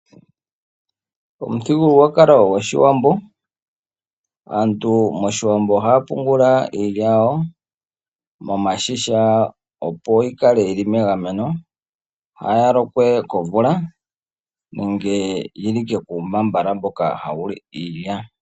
Momuthigululwakalo gwOshiwambo aantu ohaya pungula iilya yawo momashisha opo yikale yili megameno, kaayi lokwe komvula nenge yiloke kuumbaambala mboka hawu li iilya.